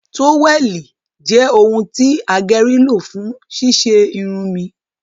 toweli jẹ òun ti ageri lo fún ṣíṣe Irun mi